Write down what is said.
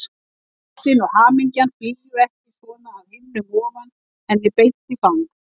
Að ástin og hamingjan flygju ekki svona af himnum ofan henni beint í fang.